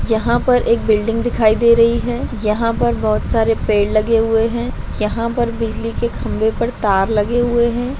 यहां पर एक बिल्डिंग दिखाई दे रही है यहां पे बहुत सारे पेड़ लगे हुए है यहां पर बिजली के खंभे पर तार लगे हुए है।